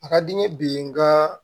A ka di n ye bi n ka